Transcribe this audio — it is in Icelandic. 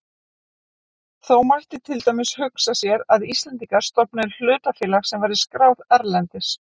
Þó mætti til dæmis hugsa sér að Íslendingar stofnuðu hlutafélag sem væri skráð erlendis.